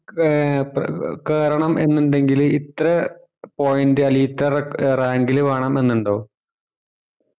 കേ പെ കേറണം എന്ന് ഇണെങ്കില് ഇത്ര point അല്ലെങ്കില് ഇത്തറ rank ല് വേണം ന്നു ഇണ്ടോ